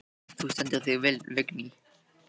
Þú stendur þig vel, Vigný!